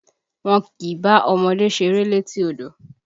Wọ́n kìí bá ọmọdé ṣeré létí odò!